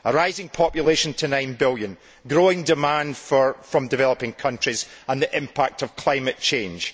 A rising population to 9 billion, growing demand from developing countries and the impact of climate change.